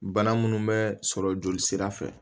Bana munnu bɛ sɔrɔ jolisira fɛ